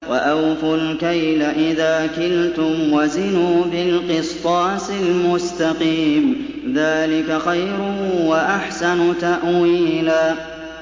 وَأَوْفُوا الْكَيْلَ إِذَا كِلْتُمْ وَزِنُوا بِالْقِسْطَاسِ الْمُسْتَقِيمِ ۚ ذَٰلِكَ خَيْرٌ وَأَحْسَنُ تَأْوِيلًا